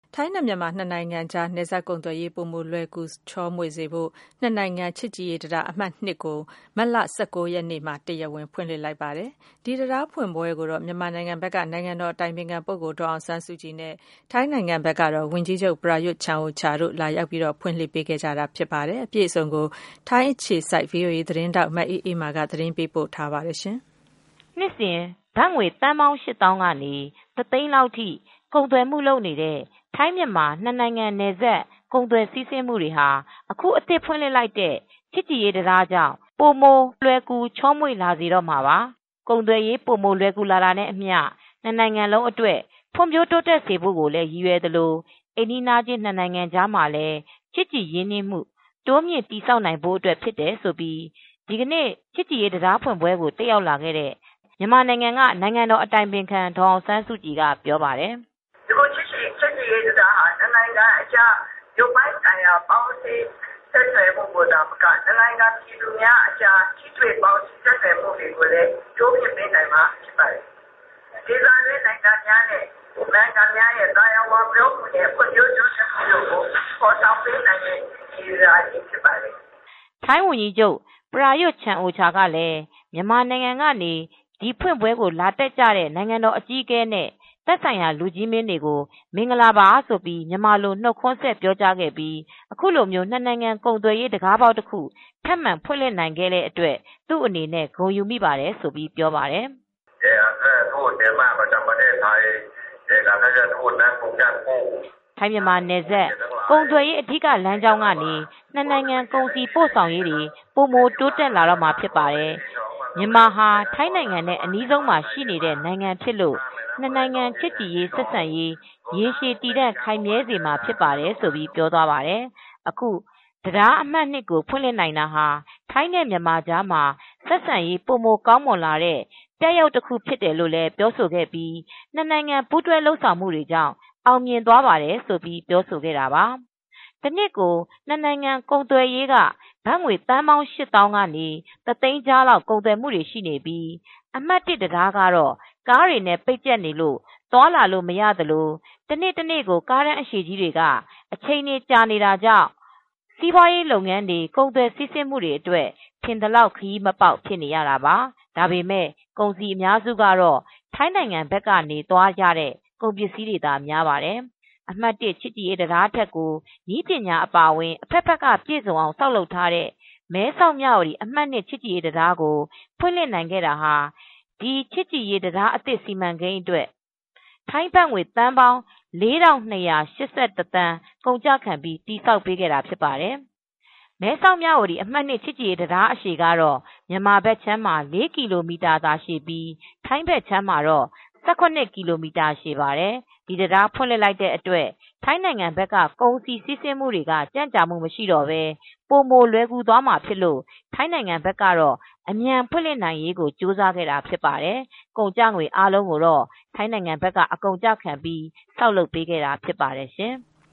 ထိုင်းနဲ့ မြန်မာ ၂ နိုင်ငံကြား နယ်စပ် ကုန်သွယ်ရေး ပိုမို လွယ်ကူ ချောမွေစေဖို့အတွက် ၂ နိုင်ငံ ချစ်ကြည်ရေးတံတား အမှတ် ကို မတ်လ ၁၉ ရက်နေ့က တရားဝင် ဖွင့်လှစ်လိုက်ပါတယ်။ ဒီတံတား ဖွင့်ပွဲကိုတော့ မြန်မာနိုင်ငံဘက်က နိုင်ငံတော် အတိုင်ပင်ခံ ဒေါ်အောင်ဆန်းစုကြည်နဲ့ ထိုင်း ဝန်ကြီးချုပ် ပရာယွတ်ချန်အိုချာတို့ လာရောက် ဖွင့်လှစ် ပေးခဲ့တာပါ။ အပြည့်စုံကို မအေးအေးမာက သတင်း ပေးပို့ထားပါတယ်။ နှစ်စဉ် ဘတ်ငွေသန်းပေါင်း ရှစ်သောင်းကနေ တသိန်းလောက်ထိ ကုန်သွယ်မှုလုပ်နေတဲ့ ထိုင်း-မြန်မာ၂ နိုင်ငံ နယ်စပ် ကုန်သွယ် စီးဆင်းမှုတွေဟာ အခု အသစ် ဖွင့်လှစ်လိုက်တဲ့ ချစ်ကြည်ရေး တံတားကြောင့် ပိုမိုလွယ်ကူ ချောမွေ့ လာစေတော့မှာပါ။ ကုန်သွယ်ရေး ပိုမို လွယ်ကူလာတာနဲ့အမျှ ၂ နိုင်ငံလုံးအတွက် ဖွံ့ဖြိုး တိုးတက်စေဖို့လည်း ရည်ရွယ်သလို၊ အိမ်နီးချင်း ၂ နှိင်ငံကြား ချစ်ကြည်ရင်းနှီးမှု တိုးမြှင့် တည်ဆောက်နိုင်ဖို့ အတွက် ဖြစ်တယ်လို့ ဒီကနေ့ ချစ်ကြည်ရေး တံတားဖွင့်ပွဲကို တက်ရောက်လာတဲ့ မြန်မာ နိုင်ငံတော် အတိုင်ပင်ခံ ဒေါ်အောင်ဆန်းစုကြည်က ပြောပါတယ်။ "အခု ချစ်ကြည်ရေး တံတားဟာ နှစ်နိုင်ငံကြား ရုပ်ပိုင်းဆိုင်ရာ ပေါင်းစည်းရေး ဆက်သွယ်မူကို သာမက ၂ နိုင်ငံ ပြည်သူများအကြား ပေါင်းစည်း ဆက်သွယ်မူတွေကိုလည်း တိုးမြှင့်ပေးနိုင်မှာ ဖြစ်ပါတယ်။ ဒေသတွင်း နိုင်ငံများရဲ့ သာယာ ဖွံ့ဖြိုးတိုးတက်မူကို ဖော်ဆောင်ပေးနိုင်မဲ့ တံတားကြီးဖြစ်ပါတယ်။" ထိုင်းဝန်ကြီးချုပ် ပရာယွတ် ချန်အိုချာကလည်း မြန်မာနိုင်ငံကနေ ဒီဖွင့်ပွဲကို လာတက်လာကြတဲ့ နိုင်ငံတော်အကြီးအကဲနဲ့ သက်ဆိုင်ရာတွေ လူကြီးမင်းတွေကို မင်္ဂလာပါလို့ မြန်မာလို နှုတ်ခွန်းဆက် ပြောကြားခဲ့ပြီး ခုလို ၂ နိုင်ငံ ကုန်သွယ်ရေး တခါးပေါက် တခု ထပ်မံဖွင့်လှစ်နိုင်ခဲ့လို့ သူ့အနေနဲ့ ဂုဏ်ယူမိပါတယ်လို့ ဆိုပါတယ်။ “ထိုင်းမြန်မာနယ်စပ် ကုန်သွယ်ရေး အဓိက လမ်းကြောင်းကနေ ၂ နိုင်ငံ ကုန်စည် ပို့ဆောင်ရေး ပိုမိုတိုးတက်လာမှာ ဖြစ်ပါတယ်။ မြန်မာဟာ ထိုင်းနိုင်ငံနဲ့ အနီးဆုံးမှာ ရှိနေတဲ့ နိုင်ငံဖြစ်လို့ ၂ နိုင်ငံ ချစ်ကြည်ရေး ဆက်ဆံရေး ရေရှည်တည်တန့် ခိုင်မြဲစေမှာ ဖြစ်ပါတယ်လို့ ပြောသွားတာပါ။ အခုတံတားအမှတ် ကို ဖွင့်လှစ်နိုင်တာဟာ ထိုင်းနဲ့ မြန်မာကြားမှာ ဆက်ဆံရေး ပိုမိုကောင်းမွန်လာတဲ့ ပြရုပ် တခုဖြစ်တယ် ဆိုပြီးတော့လည်း ပြောဆိုခဲ့ပြီး ၂ နိုင်ငံ ပူးတွဲ လုပ်ဆောင်မူကြောင့် အောင်မြင်သွားပါတယ်လို့ ဆိုခဲ့တာပါ။” တနှစ်ကို ၂ နိုင်ငံကုန်သွယ်ရေးက ဘတ်ငွေ သန်းပေါင်း ၈ သောင်းက ကနေ ၁ သိန်းကြား ကုန်သွယ်မှုတွေ ရှိနေပြီး အမှတ် တံတားကတော့ ကားတွေနဲ့ ပိတ်ကျပ်နေလို့ သိပ်သွားလာလို့မရ သလိုတနေ တနေ့ကို ကားတန်း အရှည်တွေက အချိန်တွေ ကြာနေတာကြောင့် စီးပွားရေးလုပ်ငန်းတွေ ကုန်သွယ် စီးဆင်းမှုတွေအတွက် ထင်သလောက် ခရီးမပေါက် ဖြစ်နေကြရတာပါ ဒါပေမဲ့ ကုန်စည် အများစုကတော့ ထိုင်းဘက်ကနေ သွားတဲ့ ကုန်ပစ္စည်းတွေကသာ များပါတယ်။ အမှတ် ချစ်ကြည်ရေး တံတားထက်ကို နည်းပညာအပါအဝင် အဖက်ဖက်က ပြည်စုံအောင် ဆောက်လုပ်ထားတဲ့ မဲဆောက်-မြဝတီ အမှတ် ချစ်ကြည်ရေး တံတားကို ဖွင့်လှစ်ခဲ့နိုင်ခဲ့တာမှာ ဒီ ချစ်ကြည်ရေး တံတားသစ် စီမံကိန်းအတွက် ထိုင်းဘတ်ငွေ သန်းပေါင်း သန်းကုန်ကျခံပြီး တည်ဆောက်ပေးခဲ့တာ ဖြစ်ပါတယ်။ မဲဆောက် - မြဝတီ အမှတ် ချစ်ကြည်ရေး တံတားအရှည်ကတော့ မြန်မာဘက်ခြမ်းမှာ ၄ ကီလိုသာရှည်ပြီး ထိုင်းဘက်ခြမ်းမှာတော့ ၁၇ ကီလိုမိတာ ရှည်ပါတယ်။ ဒီတံတား ဖွင့်လှစ်လိုက်တဲ့ အတွက် ထိုင်းဘက်က ကုန်စည် စီးဆင်းမူတွေက ကြန့်ကြာမှုတွေ မရှိတော့ဘဲ ပိုမို လွယ်ကူသွားမှာဖြစ်လို့ ထိုင်းဘက်ကတော့ အမြန် ဖွင့်လှစ်နိုင်ရေး ကြိုးစားခဲ့တာ ဖြစ်ပါတယ်။ ကုန်ကျငွေ အားလုံးကိုတော့ ထိုင်းဘက်က အကုန်ကျခံပြီး ဆောက်လုပ်ပေးခဲ့တာ ဖြစ်ပါတယ်ရှင်။